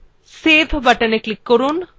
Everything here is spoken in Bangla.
save buttonএ click করুন